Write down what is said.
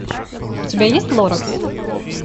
у тебя есть лоракс